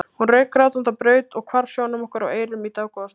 Hún rauk grátandi á braut og hvarf sjónum okkar og eyrum í dágóða stund.